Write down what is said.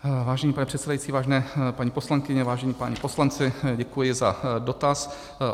Vážený pane předsedající, vážené paní poslankyně, vážení páni poslanci, děkuji za dotaz.